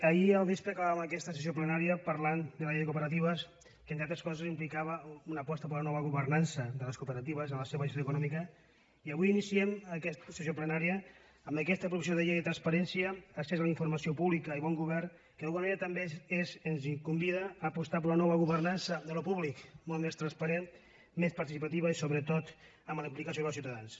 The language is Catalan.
ahir al vespre acabàvem aquesta sessió plenària parlant de la llei de cooperatives que entre altres coses indicava una aposta per una nova governança de les cooperatives en la seva gestió econòmica i avui iniciem aquesta sessió plenària amb aquesta proposició de llei de transparència accés a la informació pública i bon govern que d’alguna manera també ens convida a apostar per una nova governança d’allò públic molt més transparent més participativa i sobretot amb la implicació dels ciutadans